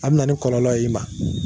Aw bi na ni kɔlɔlɔ y'i ma.